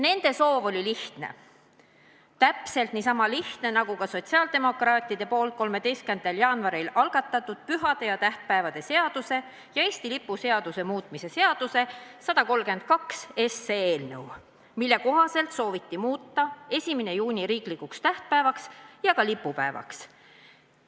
Nende soov oli lihtne – täpselt niisama lihtne, nagu oli sotsiaaldemokraatide poolt 13. jaanuaril algatatud pühade ja tähtpäevade seaduse ning Eesti lipu seaduse muutmise seaduse eelnõu 132, millega sooviti muuta 1. juuni riiklikuks tähtpäevaks ja ka lipupäevaks.